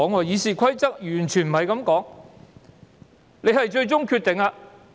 《議事規則》完全沒有這樣說。